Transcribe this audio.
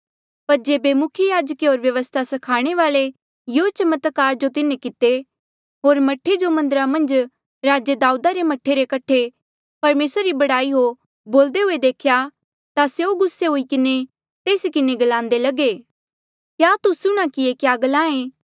पर जेबे मुख्य याजके होर व्यवस्था स्खाणे वाल्ऐ यूँ चमत्कार जो तिन्हें किते होर मह्ठे जो मन्दरा मन्झ राजे दाऊदा रे मह्ठे रे कठे परमेसरा री बड़ाई हो बोल्दे हुए देख्या ता स्यों गुस्सा हुई किन्हें तेस किन्हें ग्लान्दे लगे क्या तू सुणहां कि ये क्या ग्लाहें